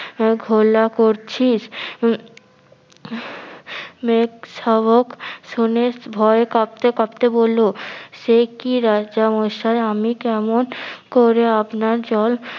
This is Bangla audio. ঘোলা করছিস উম মেগ সাবক শুনে ভয়ে কাঁপতে কাঁপতে বললো সে কি রাজা মশাই আমি কেমন করে আপনার জল